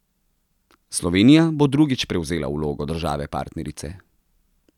Slovenija bo drugič prevzela vlogo države partnerice.